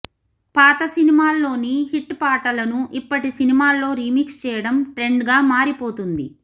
పాత సినిమాల్లోని హిట్ పాటలను ఇప్పటి సినిమాల్లో రీమిక్స్ చేయడం ట్రెండ్గా మారిపోతోంది